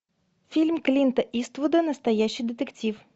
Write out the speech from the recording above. фильм клинта иствуда настоящий детектив